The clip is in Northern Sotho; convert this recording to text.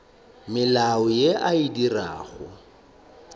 mediro ye a e dirago